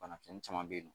Bana kisɛ caman be yen nɔ